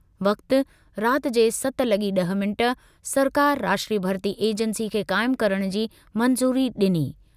वक़्ति:- राति जे सत लॻी ड॒ह मिंट, सरकार राष्ट्रीय भर्ती एजेन्सी खे क़ाइम करणु जी मंज़ूरी ॾिनी।